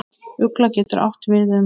Ugla getur átt við um